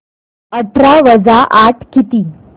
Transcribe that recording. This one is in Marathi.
अठरा वजा आठ किती